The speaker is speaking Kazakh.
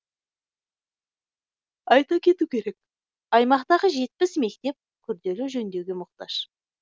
айта кету керек аймақтағы жетпіс мектеп күрделі жөндеуге мұқтаж